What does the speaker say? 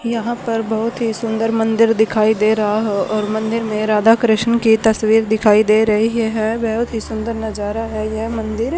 यहां पर बहुत ही सुंदर मंदिर दिखाई दे रहा हो और मंदिर में राधा कृष्ण की तस्वीर दिखाई दे रही है बहुत ही सुंदर नजारा है यह मंदिर--